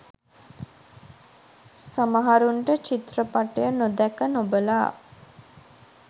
සමහරුන්ට චිත්‍රපටය නොදැක නොබලා